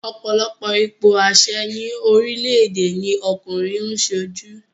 Ọ̀pọ̀lọpọ̀ ipò àṣẹ ni orílẹ̀èdè ni ọkùnrin ń sojú